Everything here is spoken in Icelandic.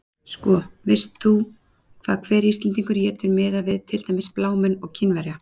Sko, veist þú hvað hver Íslendingur étur miðað við til dæmis blámenn og Kínverja?